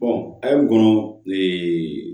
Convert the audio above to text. a y'o kɔnɔ